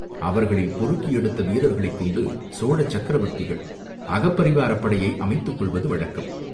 அவர்களில் பொறுக்கி எடுத்த வீரர்களைக் கொண்டு சோழ சக்கரவர்த்திகள் அகப் பரிவாரப் படையை அமைத்துக் கொள்வது வழக்கம்.